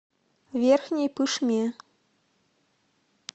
верхней пышме